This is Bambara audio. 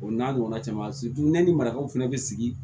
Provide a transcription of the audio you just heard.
O n'a ɲɔgɔnna caman ne ni marakaw fana bɛ sigi